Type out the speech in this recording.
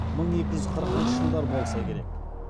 мың екі жүз қырықыншы жылдар болса керек